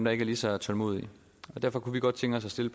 er ikke lige så tålmodige derfor kunne vi godt tænke os at stille